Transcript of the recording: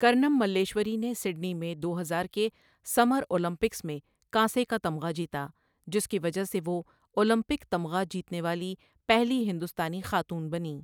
کرنم ملیشوری نے سڈنی میں دو ہزار کے سمر اولمپکس میں کانسی کا تمغہ جیتا، جس کی وجہ سے وہ اولمپک تمغہ جیتنے والی پہلی ہندوستانی خاتون بنیں۔